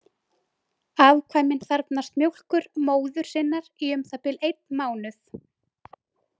Afkvæmin þarfnast mjólkur móður sinnar í um það bil einn mánuð.